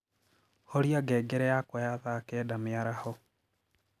horĩa ngengere yakwa ya thaa kenda mĩaraho